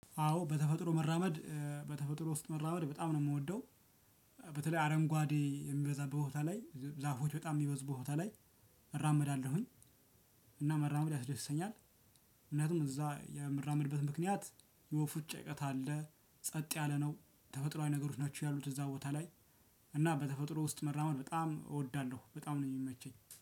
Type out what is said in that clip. አዎ በተፈጥሮ መራመድ እ በተፈጥሮ ውስጥ መራመድ በጣም ነው የምወደው። በተለይ አረንጓዴ የሚበዛበት ቦታ ላይ ዛፎች በጣም የሚበዝቡ ቦታ ላይ እራመዳለሁኝ። እና መራመድ ያስደስተኛል። ምክንያቱም እዛ የምራምድበት ምክንያት የወፎች ጫጫታ አለ ጸጥ ያለ ነው ተፈጥሮአዊ ነገሮች ናቸው ያሉት እዛ ቦታ ላይ። እና በተፈጥሮ ውስጥ መራመድ በጣም እወዳለሁ በጣም ነው የሚመቸኝ